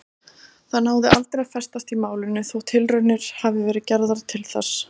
Það náði aldrei að festast í málinu þótt tilraunir hafi verið gerðar til þess.